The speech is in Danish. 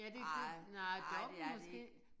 Nej nej det er det ikke